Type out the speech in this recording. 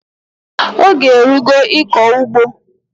Oge erugo ịkọ ugbo!